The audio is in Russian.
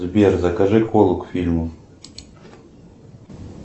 сбер закажи колу к фильму